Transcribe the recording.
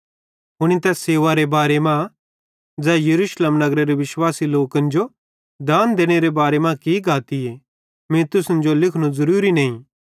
हुनी तैस सेवारे बारे मां ज़ै यरूशलेमेरे विश्वासी लोकन जो दान देनेरे बारे मां की गातीए मीं तुसन जो लिखनू ज़रूरीए नईं